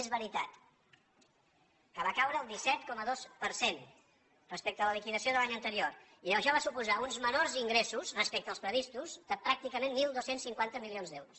és veritat que va caure el disset coma dos per cent respecte a la liquidació de l’any anterior i això va suposar uns menors ingressos respecte als previstos de pràcticament dotze cinquanta milions d’euros